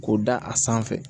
K'o da a sanfɛ